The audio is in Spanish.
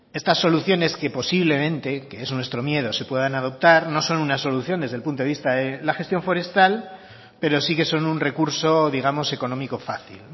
estas soluciones que posiblemente que es nuestro miedo se puedan adoptar no son una solución desde el punto de vista de la gestión forestal pero sí que son un recurso digamos económico fácil